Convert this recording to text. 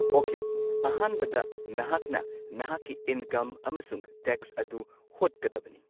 Okay ꯑꯍꯥꯟꯕꯗ ꯅꯍꯥꯛꯅ ꯅꯍꯥꯛꯀꯤ ꯏꯟꯀꯝ ꯑꯃꯁꯨꯡ ꯇꯦꯛꯁ ꯑꯗꯨ ꯍꯣꯠꯀꯗꯕꯅꯤ꯫